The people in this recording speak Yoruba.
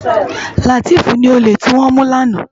Lateef ni ólé tiwòn mú làná